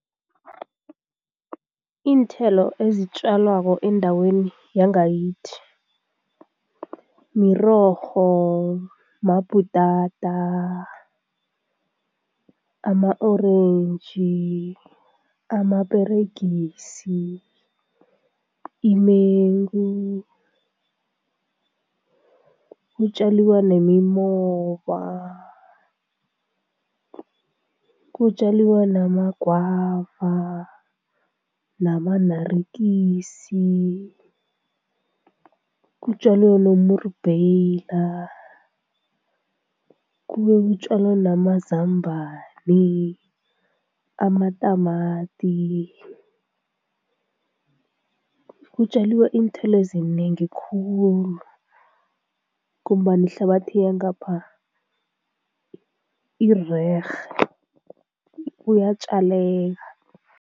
Iinthelo ezitjalwako endaweni yangakithi, mirorho, mabhutata, ama-orentji, amaperegisi, imengu, kutjaliwa nemimoba, kutjaliwa namagwava, nama-naartjies, kutjalwa nomrubheyila kube kutjalwa namazambani, amatamati, kutjaliwa iinthelo ezinengi khulu ngombana ihlabathi yangapha irerhe, kuyatjaleka.